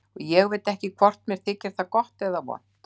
Og ég veit ekki hvort mér þykir það gott eða vont.